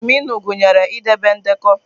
Adminụ gụnyere idebe ndekọ.